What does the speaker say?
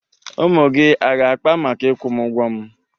Ụmụ gị aga-akpa maka ịkwụ m ụgwọ m?